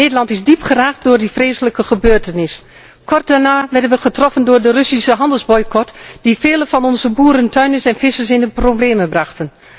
Nederland is diep geraakt door die vreselijke gebeurtenis. Kort daarna werden wij getroffen door de Russische handelsboycot, die vele van onze boeren, tuinders en vissers in de problemen bracht.